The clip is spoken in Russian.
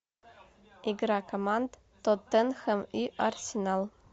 игра команд тоттенхэм и арсенал